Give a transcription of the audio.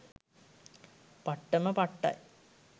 පට්ටම පට්ටයි